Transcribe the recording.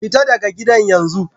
Fita daga gidan yanzu!